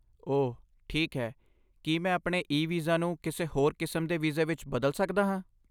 ਓਹ, ਠੀਕ ਹੈ ਕੀ ਮੈਂ ਆਪਣੇ ਈ ਵੀਜ਼ਾ ਨੂੰ ਕਿਸੇ ਹੋਰ ਕਿਸਮ ਦੇ ਵੀਜ਼ੇ ਵਿੱਚ ਬਦਲ ਸਕਦਾ ਹਾਂ?